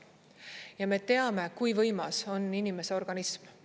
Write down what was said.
Ja me teame, kui võimas on inimese organism.